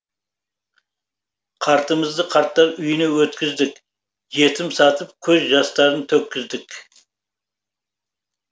қартымызды қарттар үйіне өткіздік жетім сатып көз жастарын төккіздік